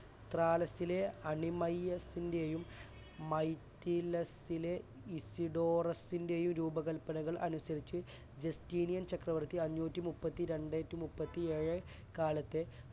ത്രാലസിലെ അനിമയസിന്റെയും മയ്ക്കിലിസിലെ ഇഹിതോറസിൻറ്റെയും രൂപകല്പനകൾ അനുസരിച്ച് ജസ്റ്റിനിയൻ ചക്രവർത്തി അഞ്ഞൂറ്റിമുപ്പത്തിരണ്ട് അഞ്ഞൂറ്റിമുപ്പത്തിഏഴ് കാലത്ത്